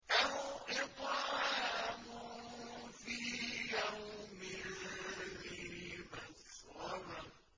أَوْ إِطْعَامٌ فِي يَوْمٍ ذِي مَسْغَبَةٍ